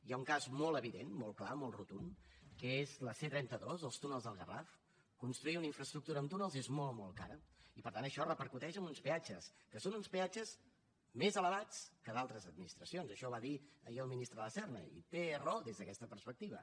hi ha un cas molt evident molt clar molt rotund que és la c trenta dos els túnels del garraf construir una infraestructura amb túnels és molt molt car i per tant això repercuteix en uns peatges que són uns peatges més elevats que d’altres administracions això ho va dir ahir el ministre de la serna i té raó des d’aquesta perspectiva